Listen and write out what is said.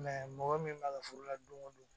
mɔgɔ min b'a ka furu la don o don